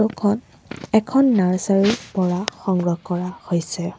এখন এখন নাৰ্চাৰী ৰ পৰা সংগ্ৰহ কৰা হৈছে।